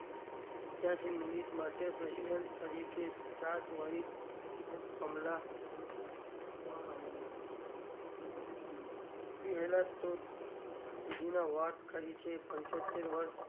પંચ્યાશી minute માટે president તરીકે ચાર્જ વાહિત president કમલા હરીશ શોધવામાં આવ્યા હતો ત્યાં સુધી વાત કરી છે પંચોતેર વર્ષ,